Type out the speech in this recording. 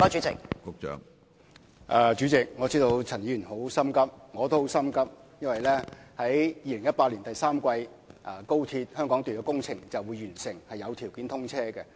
主席，我知道陳議員很心急，我同樣也很心急，因為2018年第三季高鐵香港段工程便會完成和開始有通車條件。